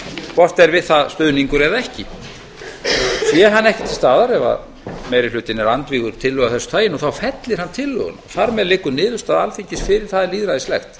hvort er við það stuðningur eða ekki sé hann ekki til staðar ef meiri hlutinn er andvígur tillögu af þessu tagi fellir hann tillöguna þar með liggur niðurstaða alþingis fyrir það er lýðræðislegt